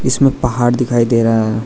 इसमें पहाड़ दिखाई दे रहा।